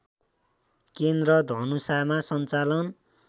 केन्द्र धनुषामा सञ्चालन